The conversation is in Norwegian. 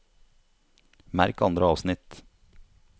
Merk andre avsnitt